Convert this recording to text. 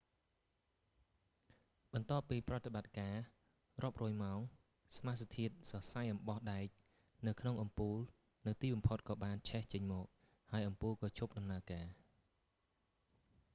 បន្ទាប់ពីប្រតិបត្ដិការរាប់រយម៉ោង សមាសធាតុសរសៃអំបោះដែកនៅក្នុងអំពូលនៅទីបំផុតក៏បានឆេះចេញមក ហើយអំពូលក៏ឈប់ដំណើរការ